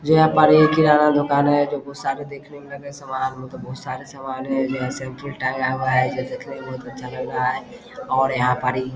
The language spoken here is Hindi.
यहाँ किराना दुकान है जो बहुत सारे देखने में लग रहे हैं सामना बहुत सारे सामान है टांगा हुआ है ये देखने में बहुत अच्छा लग रहा है और यहाँ पर इ --